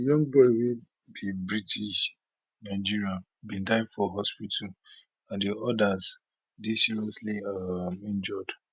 young boy wey be british nigerian bin die for hospital and di odas dey seriously um injured